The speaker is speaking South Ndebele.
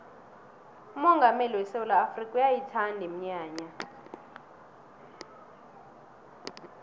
umongameli wesewula afrikha uyayithanda iminyanya